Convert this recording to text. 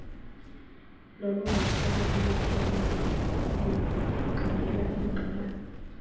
lwalungasoloko luphelele lungqinelana